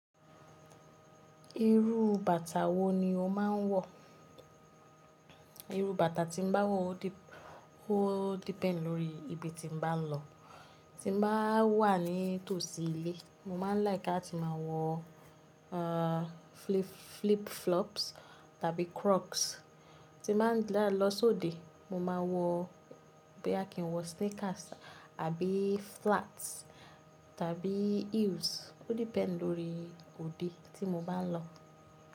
Irú bàtà wo ni o máa ń wọ̀? Irú bàtà tí n bá wọ̀ o depend lórí ibi tí n bá lọ. Tí n bá wà ní tòsí ilé, mo máa ń like lati máa wọ, uh, flip flops tàbí crocs. Tí máa ń lọ sóde, mo ma wọ boya kì ń wọ sneakers àbí flats tàbí heels. O depend lórí òde tí mo bá ń lọ.